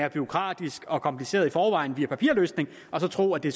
er bureaukratisk og kompliceret via papirløsningen og så tror at det